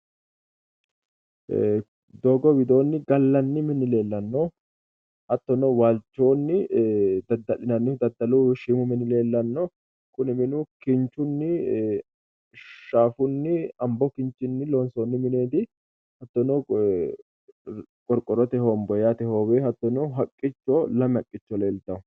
Doogo widooni gallanni mini leelano. Hattono waalchoonni dada'linanihu daddalu shiimu mini leellanno. kuni minu kinchunni , shaafunni, xambo Kinchinni loonsoonni mineeti. Isono qorqorrote honbooye yaate hooweno hattono haqqicho lame haqqicho leeltawo.